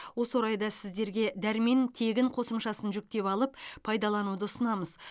осы орайда сіздерге дәрмен тегін қосымшасын жүктеп алып пайдалануды ұсынамыз